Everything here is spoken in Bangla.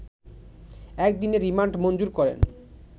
এক দিনের রিমান্ড মঞ্জুর করেন